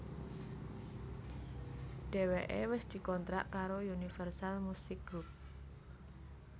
Dheweké wis dikontrak karo Universal Musik Group